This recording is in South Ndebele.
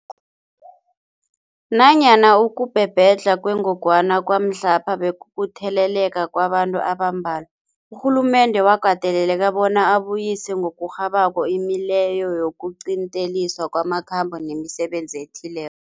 Nanyana ukubhebhedlha kwengogwana kwamhlapha bekukutheleleka kwabantu abambalwa, urhulumende wakateleleka bona abuyise ngokurhabako imileyo yokuqinteliswa kwamakhambo nemisebenzi ethile